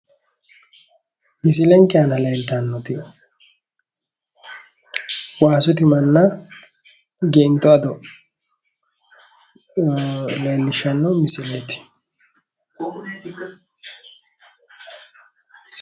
Misilenke aana leeltannoti waasu timanna geinto ado leellishshanno misileeti